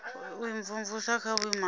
u imvumvusa kha vhuimo ha